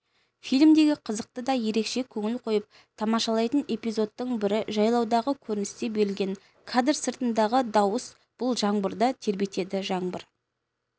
фильмдегі қызық та ерекше көңіл қойып тамашалайтын эпизодтың бірі жайлаудағы көріністе берілген кадр сыртындағы дауыс бұлт жаңбырды тербетеді жаңбыр